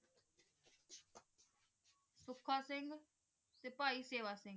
ਪੁਸ਼ਕ ਸਿੰਘ ਤੇ ਭਾਈ ਸੇਵਾ ਸਿੰਘ